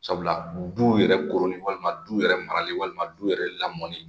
Sabula du yɛrɛ koroni walima du yɛrɛ marali walima du yɛrɛ lamɔni